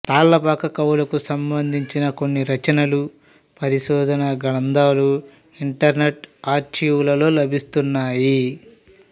తాళ్ళపాక కవులకు సంబంధించిన కొన్ని రచనలు పరిశోధనా గ్రంథాలు ఇంటర్నెట్ ఆర్చీవులలో లభిస్తున్నాయి